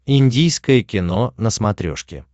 индийское кино на смотрешке